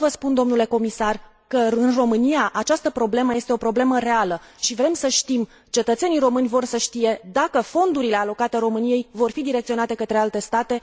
Vreau să vă spun, domnule comisar, că, în România, această problemă este o problemă reală și vrem să știm, cetățenii români vor să știe dacă fondurile alocate României vor fi direcționate către alte state.